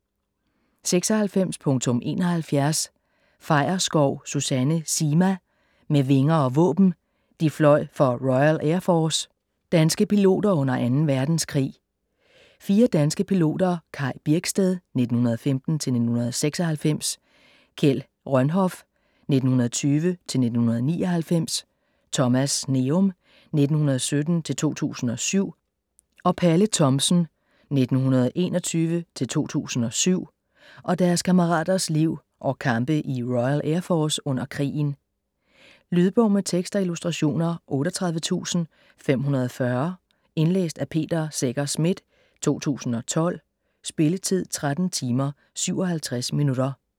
96.71 Feierskov, Susanne Zima: Med vinger og våben: de fløj for Royal Air Force: danske piloter under anden verdenskrig 4 danske piloter, Kaj Birksted (1915-1996), Kjeld Rønhof (1920-1999), Thomas Sneum (1917-2007) og Palle Thomsen (f. 1921-2007), og deres kammeraters liv og kampe i Royal Air Force under krigen. Lydbog med tekst og illustrationer 38540 Indlæst af Peter Secher Schmidt, 2012. Spilletid: 13 timer, 57 minutter.